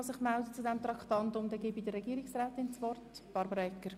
Ich erteile deshalb Regierungsrätin Egger das Wort.